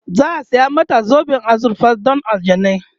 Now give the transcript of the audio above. za'a saya mata zoben azurfa Dan aljanai